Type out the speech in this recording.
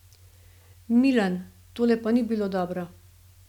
Milan, tole pa ni bilo dobro.